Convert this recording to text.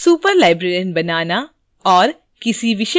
patron बनाना